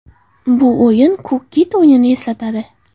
Bu o‘yin ‘Ko‘k kit’ o‘yinini eslatadi.